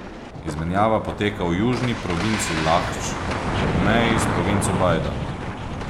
Izmenjava poteka v južni provinci Lahdž, ob meji s provinco Bajda.